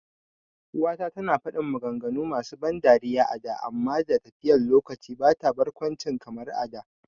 uwa ta tana fadin maganganu masu ban dariya a da amma da tafiyan lokaci bata da barkwanci kamar a da